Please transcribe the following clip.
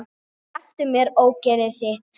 Slepptu mér, ógeðið þitt!